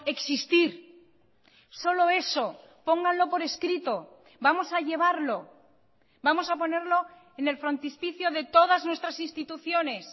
existir solo eso pónganlo por escrito vamos a llevarlo vamos a ponerlo en el frontispicio de todas nuestras instituciones